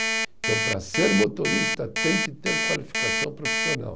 Então, para ser motorista, tem que ter qualificação profissional.